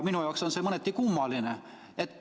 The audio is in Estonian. Minu jaoks on see mõneti kummaline.